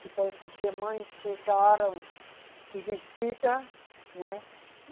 Depois as irmãs chegaram de visita, né?